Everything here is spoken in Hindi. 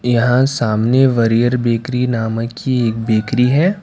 यहां सामने वरीयर बेकरी नाम की एक बेकरी है।